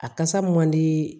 A kasa man di